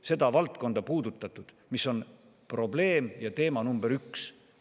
– seda valdkonda puudutatud, mis on probleem ja teema number üks.